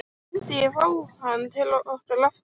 Myndi ég fá hann til okkar aftur?